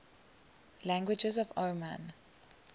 languages of oman